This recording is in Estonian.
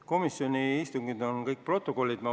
Komisjoni istungid on kõik protokollis kirjas.